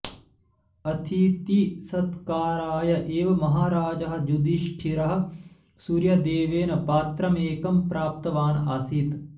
अथितिसत्काराय एव महराजः युधिष्ठिरः सूर्यदेवेन पात्रमेकं प्राप्तवान् आसीत्